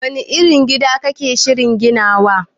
Wani irin gida kake shirin ginawa